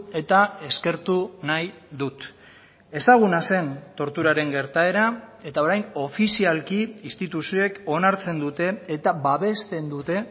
eta eskertu nahi dut ezaguna zen torturaren gertaera eta orain ofizialki instituzioek onartzen dute eta babesten dute